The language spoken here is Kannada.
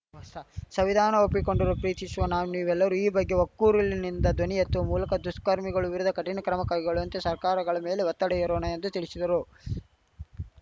ಸಂವಿಧಾನ ಒಪ್ಪಿಕೊಂಡಿರುವ ಪ್ರೀತಿಶುವ ನಾವು ನೀವೆಲ್ಲರೂ ಈ ಬಗ್ಗೆ ಒಕ್ಕೊರಲಿನಿಂದ ಧ್ವನಿ ಎತ್ತುವ ಮೂಲಕ ದುಷ್ಕರ್ಮಿಗಳ ವಿರುದ್ಧ ಕಠಿಣ ಕ್ರಮ ಕೈಗೊಳ್ಳುವಂತೆ ಸರ್ಕಾರಗಳ ಮೇಲೆ ಒತ್ತಡ ಹೇರೋಣ ಎಂದು ತಿಳಿಶಿದರು